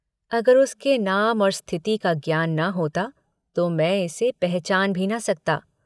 अगर उसके नाम और स्थिति का ज्ञान न होता तो मैं इसे पहचान भी न सकता।